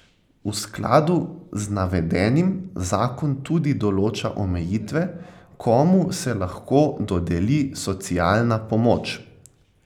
V skladu z navedenim zakon tudi določa omejitve, komu se lahko dodeli socialna pomoč.